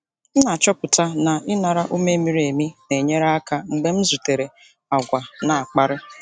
M na-achọpụta na ịnara ume miri emi na-enyere aka mgbe m zutere àgwà na-akparị.